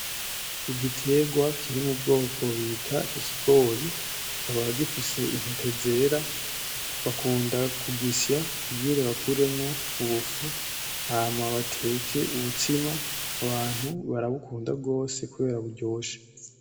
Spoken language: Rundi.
Igitegwa kiri mu bwoko bita ikigori, kikaba gifise intete zera, bakunda kugisya kugira bakuremwo ubufu hama bateke ubutsima, abantu barabukunda gose kubera buryoshe.